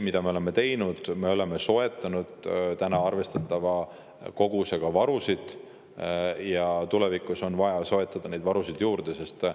Mida me veel oleme teinud: me oleme soetanud arvestatava koguse varusid ja tulevikus on vaja neid varusid veel juurde soetada.